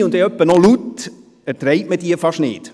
alleine und etwa noch laut erträgt man diese fast nicht.